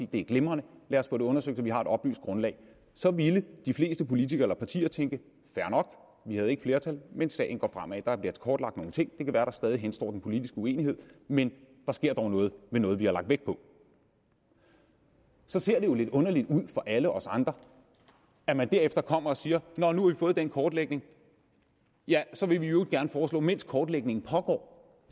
det er glimrende lad os få det undersøgt så vi har et oplyst grundlag så ville de fleste politikere eller partier tænke fair nok vi havde ikke flertal men sagen går fremad der bliver kortlagt nogle ting det kan være der stadig henstår den politiske uenighed men der sker dog noget med noget vi har lagt vægt på så ser det jo lidt underligt ud for alle os andre at man derefter kommer og siger nå nu får den kortlægning ja så vil vi i øvrigt gerne foreslå mens kortlægningen pågår